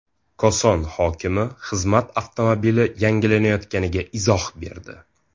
Koson hokimi xizmat avtomobilini yangilayotganiga izoh berdi.